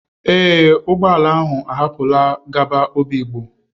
Ee, ụgbọ ala ahụ ahapụlarị gaba obigbo.